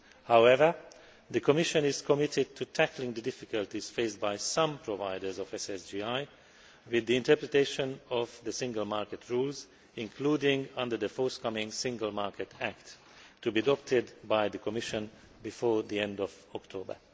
However, the Commission is committed to tackling the difficulties faced by some providers of SSGI with the interpretation of the single market rules, including under the forthcoming Single Market Act, to be adopted by the Commission before the end of October.